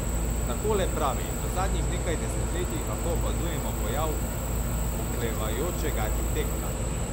Takole pravi: "V zadnjih nekaj desetletjih lahko opazujemo pojav oklevajočega arhitekta.